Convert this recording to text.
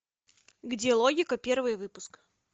где логика первый выпуск